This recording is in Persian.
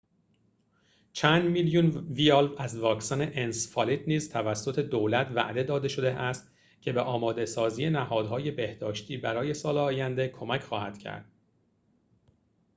چند میلیون ویال از واکسن انسفالیت نیز توسط دولت وعده داده شده است که به آماده‌سازی نهادهای بهداشتی برای سال آینده کمک خواهد کرد